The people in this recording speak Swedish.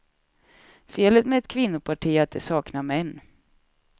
Felet med ett kvinnoparti är att det saknar män.